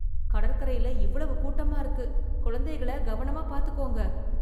கடற்கரையில இவ்வளவு கூட்டமா இருக்கு. கொழந்தைகள கவனமா பாத்துக்கோங்க.